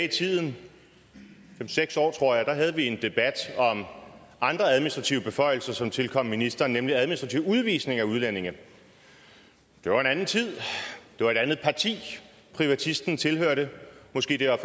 i tiden fem seks år tror jeg da havde vi en debat om andre administrative beføjelser som tilkom ministeren nemlig administrativ udvisning af udlændinge det var en anden tid det var et andet parti privatisten tilhørte måske var